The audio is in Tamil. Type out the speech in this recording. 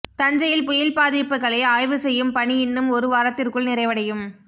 தஞ்சையில் புயல் பாதிப்புகளை ஆய்வு செய்யும் பணி இன்னும் ஒரு வாரத்திற்குள் நிறைவடையும்